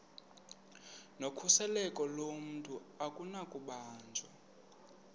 nokhuseleko lomntu akunakubanjwa